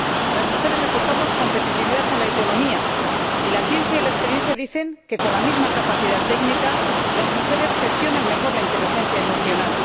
Las mujeres aportamos competitividad a la economía, y la ciencia y la experiencia dicen que con la misma capacidad técnica las mujeres gestionan mejor la inteligencia emocional.